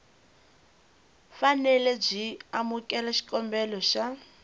fanele byi amukela xikombelo xa